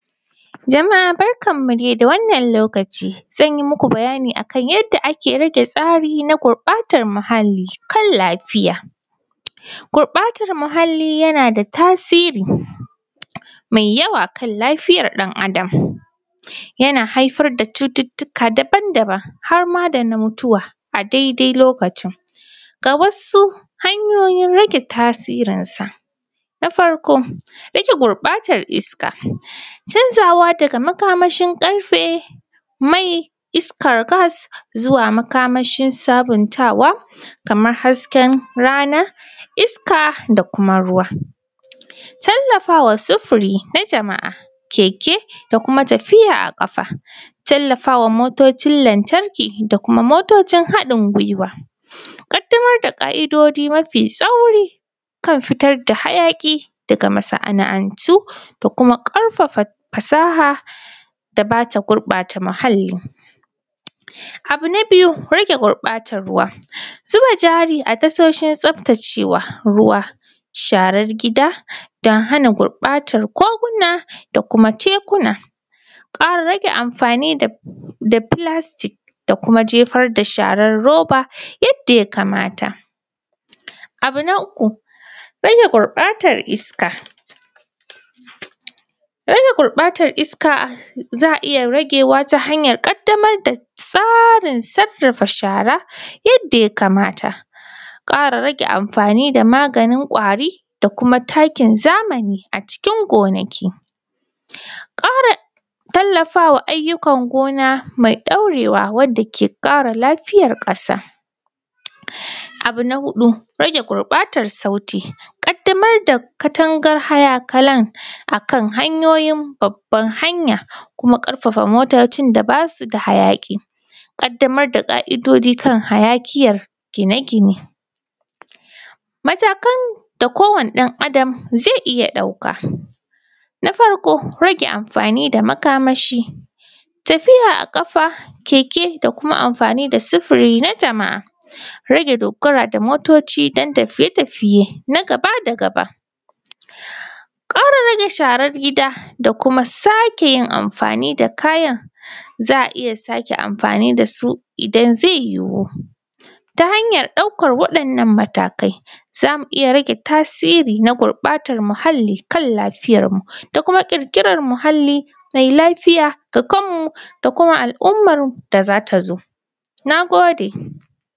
Jamaa barkanmu dai da wannan lokaci zan muku bayani kan yanda ake rage tsari na gurɓatan muhalli kan lafiya. Gurɓatan muhalli yana da tasiri mai yawa kan lafiyan ɗan’Adam yana haifar da cututtuka daban-daban har ma da na mutuwa daidai lokacin ga wasu hanyoyin rage tasirinsa na farko, rage gurɓatan iska canzawa daga makamashin ƙarfe mai iskan gas zuwa makamashin sabintawa kaman hasken rana isaka da kuma ruwa, tallafawa sufuri jama’a keke da kuma tafiya a ƙasa, tallafa wa motocin lantarki ko kuma motocin haɗin giwa kaddaro da ƙaidoji mafi sauri kan fitar da hayaƙi daga masa’antu da kuma ƙarfafa fasaha da za ta gurɓata muhalli. Abu na biyu, rage gurɓatan ruwa, zuba jari a tashoshin tsaftacewa, sharan gida don hana gurɓatan da kuma tekuna, rage anfani da filastik da jefar da sharan roba yadda ya kamata. Abu na uku, rage gurɓatan iska ta hanyar ƙaddamar da tsarin sarrafa shara yadda ya kamata, ƙara rage anfani da maganin kwari da kuma takin zamani don gonaki, ƙara tallafa wa ayyukan gona me ɗaurewa wanda ke ƙara lafiyan ƙasa, abu na huɗu rage gurɓatan sauti, ƙaddamar da Katanga akan hanyoyin babban hanya da kuma ƙarfafa motocin da ba su da hayaƙi, kaddamar da hanyoyin kan hayaƙi ‘yan gine-gine. Matakan da kowane ɗan’Adam zai iya ɗauka na farko rage anfani da makamashi, tafiya a ƙasa, keke da kuma anfani da sifiri na jama’a, rage dogara da motoci don tafiye-tafiye gaba da gaba, ƙara rage sharan gida da kuma sake yin anfani da kayan za a iya sake anfani da su in zai yuhu ta hanyan ɗaukan wannan matakai za mi iya tasiri na gurɓatan muhalli da lafiyanmu da kuma ƙirƙiran muahlli mailafiya ga kanmu da kuma al’umman da za ta zo. Na gode.